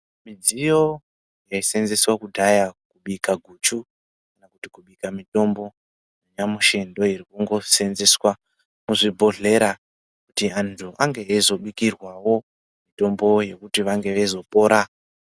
Midziyo yai senzeswa kudhaya kubika guchu kana kuti kubika mitombo nyamushi ndo iri kungo senzeswa muzvi bhodhlera kuti antu ange eyizo bikirwawo mitombo yekuti vange veizo pora.